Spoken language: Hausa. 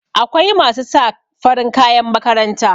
akwai masu sa farin kayan makaranta